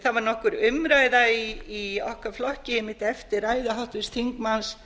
það var nokkur umræða í okkar flokki einmitt eftir ræðu háttvirts þingmanns